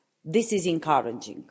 This is encouraging.